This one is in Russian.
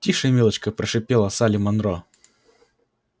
тише милочка прошипела салли манро